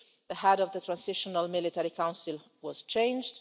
The head of the transitional military council was changed